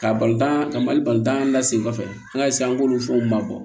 Ka balontan ka mali balontan la sen kɔfɛ an ka an b'olu fɛnw ma bɔ